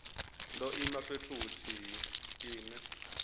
ngo ima fhethu huthihi ine